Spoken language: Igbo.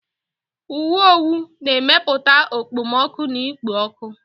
Uwe owu na-emepụta okpomọkụ na ikpo ọkụ.